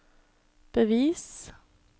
bevis